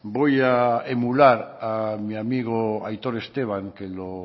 voy a emular a mi amigo aitor esteban que lo